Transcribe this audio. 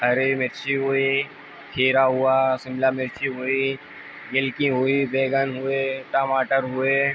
हरी मिर्ची हुई खीरा हुआ शिमला मिर्ची हुई बिलकी हुई बैंगन हुए टमाटर हुए।